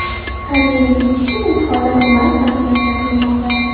Koreyaga ketish uchun imtihonlar onlayn translyatsiya qilinmoqda.